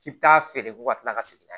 K'i bi taa feere ko ka tila ka segin